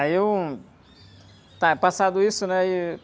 Aí eu... Tá, passado isso, né? Aí...